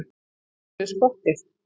Að leggja niður skottið